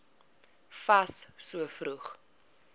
fas so vroeg